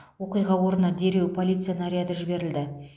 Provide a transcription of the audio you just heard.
оқиға орнына дереу полиция наряды жіберілді